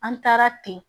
An taara ten